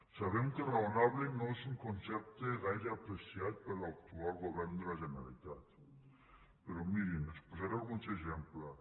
sabem que raonable no és un concepte gaire apreciat per l’actual govern de la generalitat però mirin els posaré alguns exemples